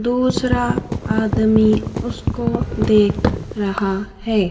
दूसरा आदमी उसको देख रहा है।